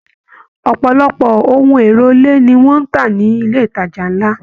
Ọpọlọpọ ohùn èlò ilé ní wọn n tá nilé ìtajà nlá.